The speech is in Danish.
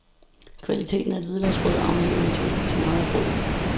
Kvaliteten af et hvidløgsbrød afhænger naturligvis meget af brødet.